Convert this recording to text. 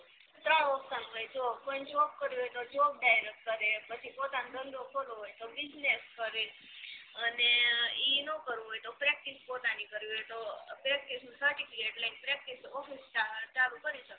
ત્રણ option હોય જો કોઈ ને જોબ કરવી હોય તો જોબ direct કરે પછી પોતાનો ધંધો કરવો હોય તો business કરે અને ઇ નો કરવું હોય તો practice પોતાની કરવી હોય તો practice નુ certificate લઈને practice office ચાલુ કરી સકાય